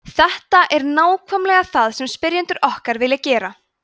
þetta er nákvæmlega það sem spyrjendur okkar vilja gera